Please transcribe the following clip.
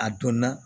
A donna